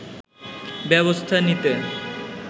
ব্যবস্থা নিতে